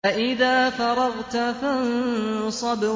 فَإِذَا فَرَغْتَ فَانصَبْ